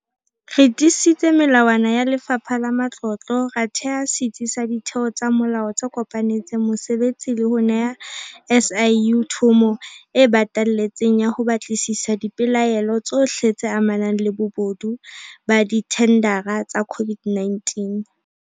Re tiisitse melawana ya Lefapha la Matlotlo, ra theha setsi sa ditheo tsa molao tse kopanetseng mosebetsi le ho neha SIU thomo e batalletseng ya ho batlisisa dipelaelo tsohle tse amanang le bobodu ba dithendara tsa COVID-19.